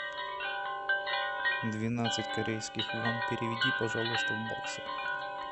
двенадцать корейских вон переведи пожалуйста в баксы